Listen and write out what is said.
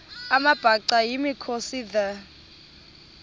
amabhaca yimikhosi the